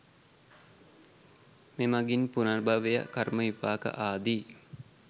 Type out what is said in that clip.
මේ මඟින් පුනර්භවය කර්ම විපාක ආදී